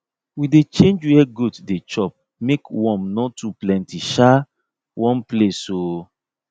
we dey change where goat dey chop make worm no too plenty um one place um